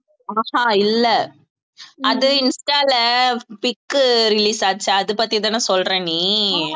ஆஹா இல்லை அது இன்ஸ்டால pic உ release ஆச்சு அதைப் பத்திதானே சொல்ற நீ